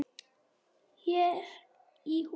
Hér í hús